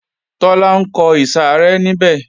Tọ́lá ńkọ ìsàrẹ́ níbẹ̀